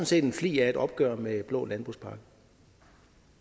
set en flig af et opgør med blå landbrugspakke